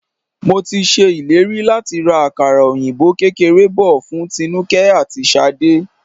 Mo ti ṣe ìlérí láti ra àkàrà òyìnbó kékeré bò fún Tinuke àti Ṣadé.